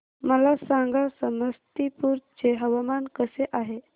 मला सांगा समस्तीपुर चे हवामान कसे आहे